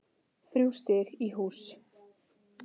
Þrjú stig í hús